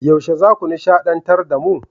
Yaushe zaku nishadantar da mu?